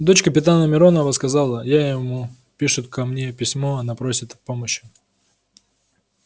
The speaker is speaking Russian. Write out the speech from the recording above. дочь капитана миронова сказала я ему пишет ко мне письмо она просит о помощи